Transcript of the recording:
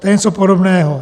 To je něco podobného.